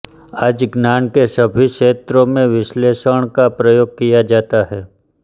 आज ज्ञान के सभी क्षेत्रों में विश्लेषण का प्रयोग किया जाता है